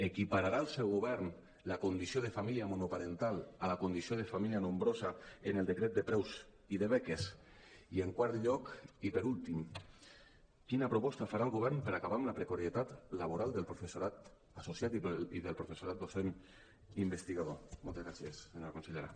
equipararà el seu govern la condició de família monoparental a la condició de família nombrosa en el decret de preus i de beques i en quart lloc i per últim quina proposta farà el govern per acabar amb la pre·carietat laboral del professorat associat i del professorat docent investigador moltes gràcies senyora consellera